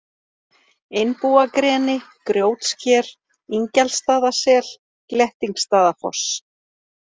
Einbúagreni, Grjótsker, Ingjaldsstaðasel, Glettingsstaðafoss